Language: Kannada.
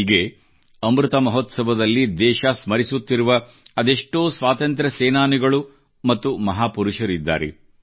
ಹೀಗೆ ಅಮೃತ ಮಹೋತ್ಸವದಲ್ಲಿ ದೇಶ ಸ್ಮರಿಸುತ್ತಿರುವ ಅದೆಷ್ಟೋ ಸ್ವಾತಂತ್ರ್ಯ ಸೇನಾನಿಗಳು ಮತ್ತು ಮಹಾಪುರುಷರಿದ್ದಾರೆ